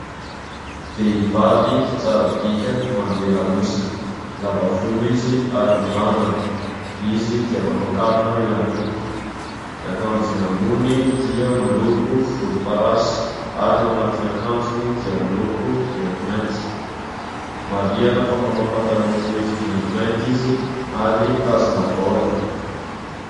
Vehivavy tsara bika manome lamosina, lava volo izy ary mirandrana. Izy dia manao kavina ihany koa. Ny akanjony ambony dia miloko volomparasy ary ny ao anatin'ny akanjony dia miloko maintimainty. Marihana fa manao pataloha fohy maintimainty izy ary mitazona baolina.